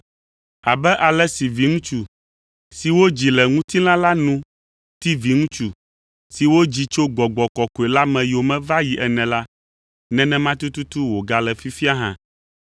Abe ale si viŋutsu, si wodzi le ŋutilã la nu ti viŋutsu, si wodzi tso Gbɔgbɔ Kɔkɔe la me yome va yi ene la, nenema tututu wògale fifia hã.